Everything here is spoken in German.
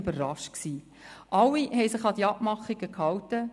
Alle haben sich an die Abmachungen gehalten.